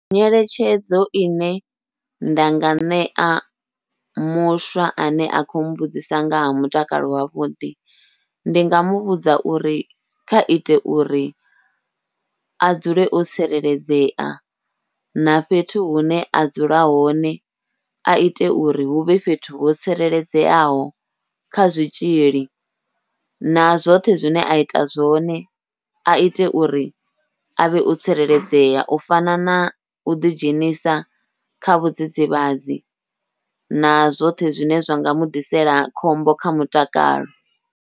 Nyeletshedzo ine nda nga ṋea muswa ane a kho mbudzisa nga ha mutakalo wavhuḓi, ndi nga muvhudza uri kha ite uri a dzule o tsireledzea na fhethu hune a dzula hone aite uri huvhe fhethu ho tsireledzeaho kha zwitzhili, na zwoṱhe zwine aita zwone aite uri avhe o tsireledzea u fana na uḓi dzhenisa kha vhudzidzivhadzi na zwoṱhe zwine zwa nga muḓisela khombo kha mutakalo.